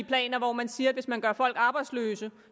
planer hvor man siger at hvis man gør folk arbejdsløse